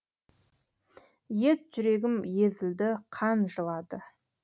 ет жүрегім езілді қан жылады